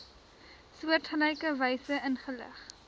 soortgelyke wyse ingelig